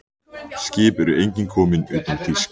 Skip eru engin komin utan þýsk.